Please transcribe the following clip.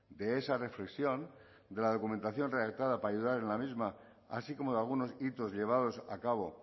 de esa reflexión de la documentación redactada para ayudar en la misma así como de algunos hitos llevados a cabo